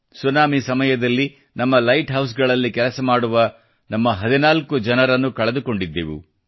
tsunami ಸಮಯದಲ್ಲಿ ನಮ್ಮ light ಹೌಸ್ಗಳಲ್ಲಿ ಕೆಲಸಮಾಡುವ ನಮ್ಮ 14 ಜನರನ್ನು ಕಳೆದುಕೊಂಡಿದ್ದೆವು